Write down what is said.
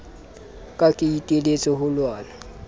ka ke iteletse ho lwana